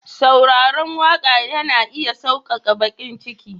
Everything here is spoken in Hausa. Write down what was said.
sauraron waka yana iya sauƙaƙa baƙin ciki.